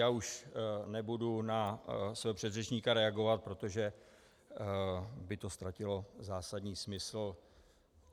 Já už nebudu na svého předřečníka reagovat, protože by to ztratilo zásadní smysl.